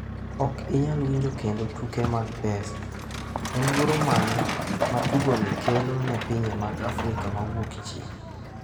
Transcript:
Ok inyal winjo kendo tuke mag pesa: En luoro mane ma tugoni kelo ne pinje mag Afrika ma Wuokchieng’?